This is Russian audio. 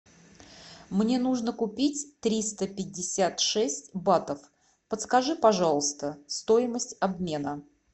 мне нужно купить триста пятьдесят шесть батов подскажи пожалуйста стоимость обмена